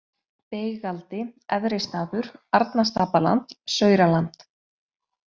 Beigaldi, Efri-Staður, Arnastapaland, Sauraland